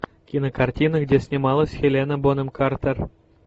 кинокартина где снималась хелена бонем картер